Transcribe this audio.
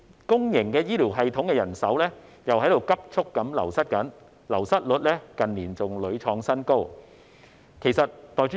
公營醫療系統人手急速流失，流失率在近年亦屢創新高。